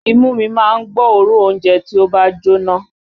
Imú mi má ń gbọ́ òórùn oúnjẹ tí ó bá ń jóná